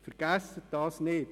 Vergessen Sie dies nicht.